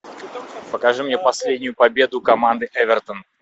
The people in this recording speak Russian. покажи мне последнюю победу команды эвертон